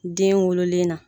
Den wololen na